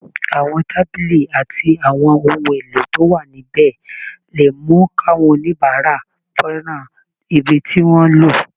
Àwọn tábìlì àtàwọn ohun èlò tó wà níbẹ̀ lè mú káwọn oníbàárà fẹ́ràn ibi tí wọ́n ń lò